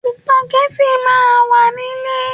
Sùpàgẹ́tì máa wà nile